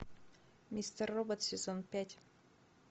мистер робот сезон пять